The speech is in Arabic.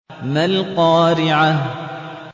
مَا الْقَارِعَةُ